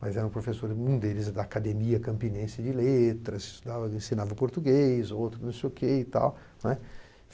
mas era um professor, um deles, da Academia Campinense de Letras, ensinava português, outro não sei o quê e tal, né.